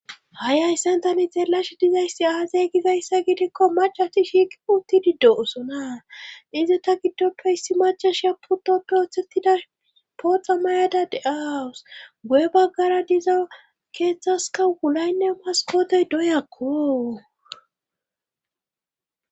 hai hayssentani xeelash dizayssi aazay gizayssa gidekko macati shiiqi utti diddo osona izi ta giddoppehissi macashya puto doothettida pooxa mayada de7awus guye baggara diza keeththaska wulaynne maskotey doyakko